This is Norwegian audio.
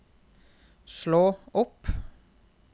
slå opp